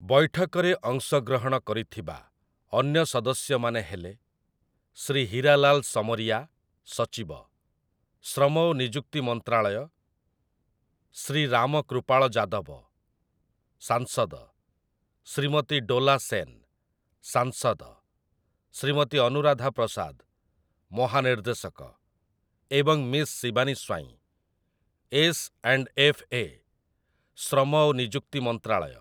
ବୈଠକରେ ଅଂଶଗ୍ରହଣ କରିଥିବା ଅନ୍ୟ ସଦସ୍ୟମାନେ ହେଲେ, ଶ୍ରୀ ହୀରାଲାଲ ସମରିୟା, ସଚିବ, ଶ୍ରମ ଓ ନିଯୁକ୍ତି ମନ୍ତ୍ରାଳୟ, ଶ୍ରୀ ରାମ କୃପାଳ ଯାଦବ, ସାଂସଦ, ଶ୍ରୀମତୀ ଡୋଲା ସେନ୍, ସାଂସଦ, ଶ୍ରୀମତୀ ଅନୁରାଧା ପ୍ରସାଦ, ମହାନିର୍ଦ୍ଦେଶକ ଏବଂ ମିସ୍ ଶିବାନୀ ସ୍ୱାଇଁ, ଏସ୍‌.ଆଣ୍ଡ୍‌.ଏଫ୍.ଏ., ଶ୍ରମ ଓ ନିଯୁକ୍ତି ମନ୍ତ୍ରାଳୟ ।